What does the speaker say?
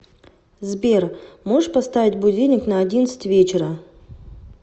сбер можешь поставить будильник на одиннадцать вечера